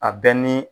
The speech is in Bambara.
A bɛ ni